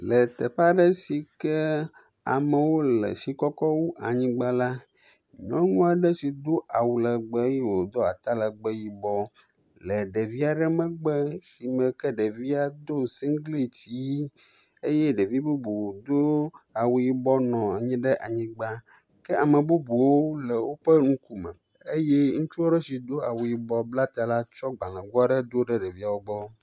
Le teƒe aɖe si ke amewo le fi kɔkɔ wu anyigba la. Nyɔnu aɖe si do awu legbe eye wodo atalegbe yibɔ le ɖevi aɖe megbe si me ke ɖevia do singliti ʋi eye ɖevi bubu do awu yibɔ nɔ anyi ɖe anyigba kea me bubuwo le woƒe ŋkume eye ŋutsu aɖe si do awu yibɔ la blata la tso gblego aɖe do ɖe ɖeviawo gbɔ.